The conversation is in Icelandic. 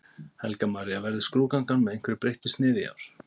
Helga María: Verður skrúðgangan með einhverju breyttu sniði í ár?